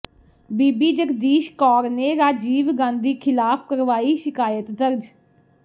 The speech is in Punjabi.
ਬੀਬੀ ਜਗਦੀਸ਼ ਕੌਰ ਨੇ ਰਾਜੀਵ ਗਾਂਧੀ ਖਿਲਾਫ ਕਰਵਾਈ ਸ਼ਿਕਾਇਤ ਦਰਜ